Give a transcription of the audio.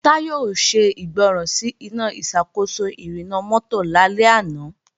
Táyọ̀ ò ṣègbọràn sí Iná ìṣàkóso ìrìnnà mọ́tò lálẹ́ àná